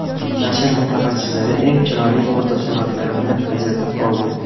Nashr mutaxassislari eng chiroyli fotosuratlarni ajratib oldi.